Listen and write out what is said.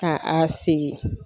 Ka a sigi.